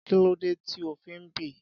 Kí ló dé tí ó fi ń bì?